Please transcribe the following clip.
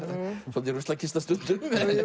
svolítil ruslakista stundum